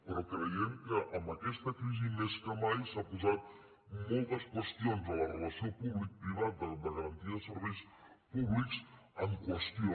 però creiem que amb aquesta crisi més que mai s’han posat moltes qüestions en la relació públic privat de garantia de serveis públics en qüestió